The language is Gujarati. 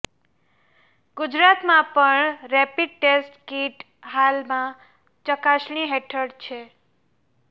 ગુજરાતમાં પણ રેપિડ ટેસ્ટ કીટ હાલમાં ચકાસણી હેઠળ છે